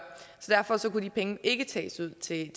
så derfor kunne de penge ikke tages ud til